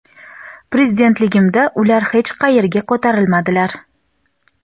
Prezidentligimda ular hech qayerga ko‘tarilmadilar.